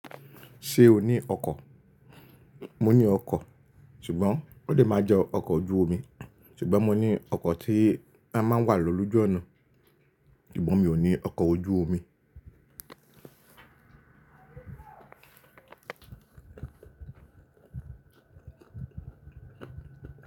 Ṣé o ní ọkọ̀? Mo ní ọkọ̀, ṣùgbọ́n ò lè máa jẹ́ ọkọ̀ ojú omi. Ṣùgbọ́n mo ní ọkọ̀ tí a máa ń wà lọ lójú ọ̀nà, ṣùgbọ́n mi ò ní ọkọ̀ ojú omi.